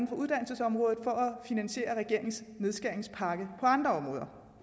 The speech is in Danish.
på uddannelsesområdet for at finansiere regeringens nedskæringspakke på andre